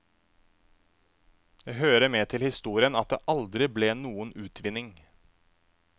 Det hører med til historien at det aldri ble noen utvinning.